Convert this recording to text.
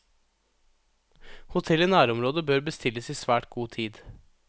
Hotell i nærområdet bør bestilles i svært god tid.